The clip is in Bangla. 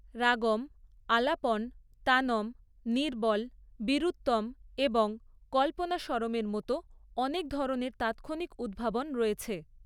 রাগম আলাপন, তানম, নিরবল, বীরুত্তম এবং কল্পনাস্বরমের মতো অনেক ধরণের তাৎক্ষণিক উদ্ভাবন রয়েছে।